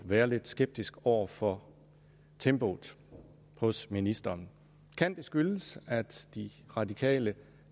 være lidt skeptisk over for tempoet hos ministeren kan det skyldes at de radikale